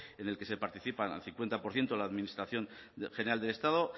en el que participa al cincuenta por ciento la administración general del estado